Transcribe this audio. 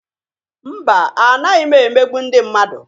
Mba, anaghị m emegbu ndị mmadu.